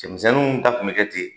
Cɛmisɛnninw ta tun bɛ kɛ ten.